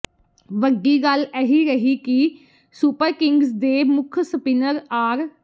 ਵੱਡੀ ਗੱਲ ਇਹ ਰਹੀ ਕਿ ਸੁਪਰਕਿੰਗਜ਼ ਦੇ ਮੁੱਖ ਸਪਿੰਨਰ ਆਰ